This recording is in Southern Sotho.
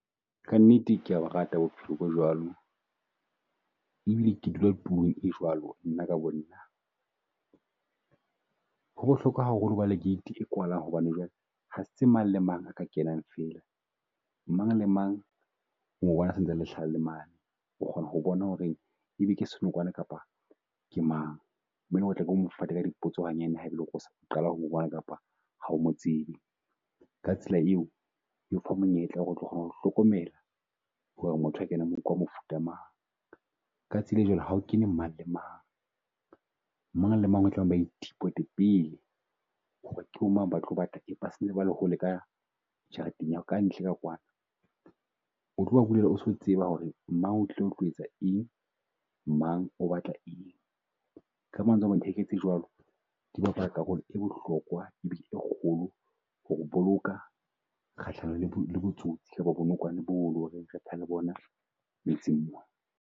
Ka nnete ke ya borata bohelo bo jwalo e bile ke dula tulong e jwalo nna ka bo nna, ho bohlokwa haholo ho ba le gate e kwalang hobane jwale ha se mang le mang a ka kenang fela. Mang le mang o mo bona se ntse a hlaha le mane, o kgona ho bona ho re e be ke senokwane kapa ke mang. Be lo re tla ke o mo fate ka dipotso hanyane o sa qala ho bona kapa ha o mo tsebe. Ka tsela eo o ipha monyetla wa ho re o tlo kgone ho hlokomela ho re motho a kenang mona ke wa mofuta mang. Ka tsela e jwalo ha o kene mang le mang, mang le mang a ithipote pele ke bo mang ba tlo batla eng. Hole ka jarenteng ya ka ntle ka kwana, o tlo ba bulela o so o tseba ho re mang o tlile ho tlo etsa eng, mang o batla eng. Ka mantswe a mang heke tse jwalo di karolo e bohlokwa e kgolo, ho o boloka kgahlanong le bo le bo tsotsi kapa bo nokwane bo lo reng re le bona metseng mona.